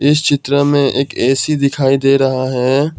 इस चित्र में एक ए_सी दिखाई दे रहा है।